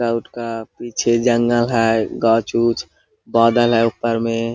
गुटका वुटका पीछे जंगल है गाछ उच्च बादल है ऊपर में।